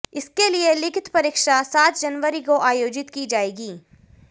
इसके लिए लिखित परीक्षा सात जनवरी को आयोजित की जाएगी